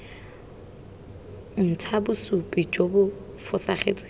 ntsha bosupi jo bo fosagetseng